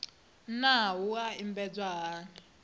naa wua i lambedzwa hani